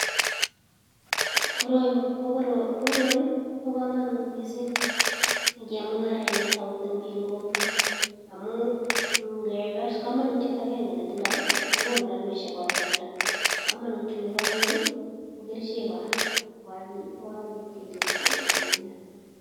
Koroi kobo kamanut mising eng chemungaraenik ako toreti biik eng kokwet amun ngekes komanutiet agenge ne tindoi kokonu rapishek ko kakialda. Kamanutiet nebo aeng, ko kerichek kora ko kechop koek kumiat.